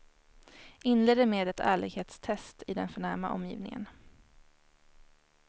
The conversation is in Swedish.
Inleder med ett ärlighetstest i den förnäma omgivningen.